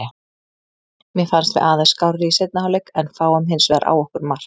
Mér fannst við aðeins skárri í seinni hálfleik en fáum hinsvegar á okkur mark.